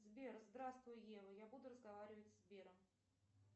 сбер здравствуй ева я буду разговаривать с сбером